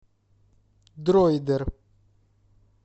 дроидер